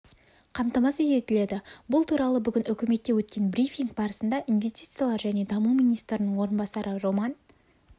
қамтамасыз етіледі бұл туралы бүгін үкіметте өткен брифинг барысында инвестициялар және даму министрінің орынбасары роман